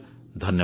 ଧନ୍ୟବାଦ